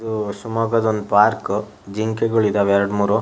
ದೂ ಶಿಮೊಗ ದೊಂದ್ ಪಾರ್ಕ್ ಜಿಂಕೆಗಳಿದಾವೆ ಎರ್ಡ್ ಮೂರು.